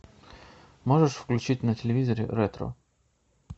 можешь включить на телевизоре ретро